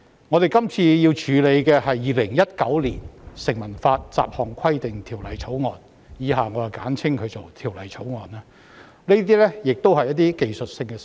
我們這次要處理的《2019年成文法條例草案》亦是提出一些技術性修訂，不應具爭議性。